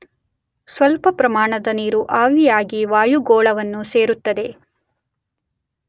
ಸ್ವಲ್ಪ ಪ್ರಮಾಣದ ನೀರು ಆವಿಯಾಗಿ ವಾಯುಗೋಳವನ್ನು ಸೇರುತ್ತದೆ.